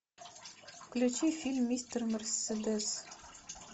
включи фильм мистер мерседес